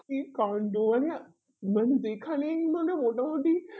কি কান্ড আমি না মানে যেখানেই মানে মোটামোটি